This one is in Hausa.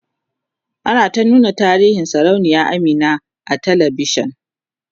ana ta nuna tarihin sarauniya Amina a talavishan